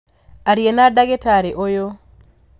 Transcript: Aria na ndagĩtarĩ ũyũ